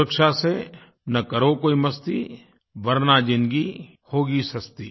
सुरक्षा से न करो कोई मस्ती वर्ना ज़िंदगी होगी सस्ती